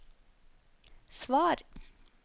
svar